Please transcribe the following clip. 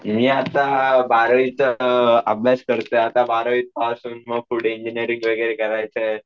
मी आता अं बारावीचा अं अभ्यास करतोय आता, बारावी पास होऊन मग पुढे मग इंजिनिअरिंग वगैरे करायचंय.